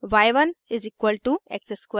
y1 = x square